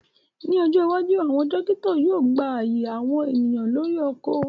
Ni ojo iwaju, awọn tirakitọ yóò gba aaye awọn eniyan lori oko